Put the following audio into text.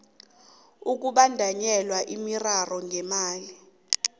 ukubandanyelwa miraro ngemali